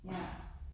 Ja